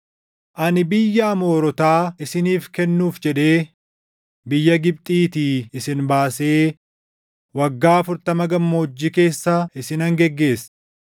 “Ani biyya Amoorotaa isiniif kennuuf jedhee, biyya Gibxiitii isin baasee waggaa afurtama gammoojjii keessa isinan geggeesse.